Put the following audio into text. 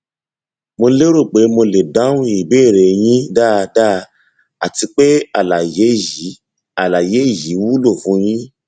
mo lérò pé mo lè dáhùn ìbéèrè yín dáadáa àti pé àlàyé yìí àlàyé yìí wúlò fún yín